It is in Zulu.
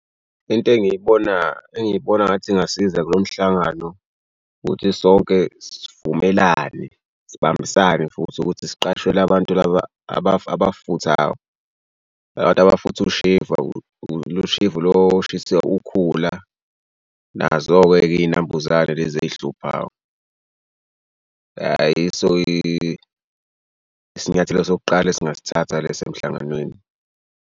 Into engiyibona engiyibona ngathi ingasiza kulomhlangano ukuthi sonke sivumelane sibambisane futhi ukuthi siqashe la bantu laba amafuthayo la bantu abafutha ushevu lo shevu lo oshisa ukhula nazoke-ke iy'nambuzane lezi eyihluphayo. Ya yiso isinyathelo sokuqala esingasithatha leso emhlanganweni.